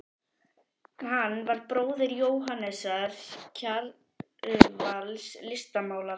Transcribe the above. Hann var bróðir Jóhannesar Kjarvals, listmálara.